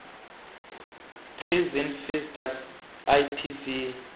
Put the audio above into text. prison visitor ipv